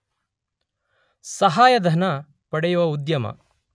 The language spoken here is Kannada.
ಸಹಾಯಧನ ಪಡೆಯುವ ಉದ್ಯಮ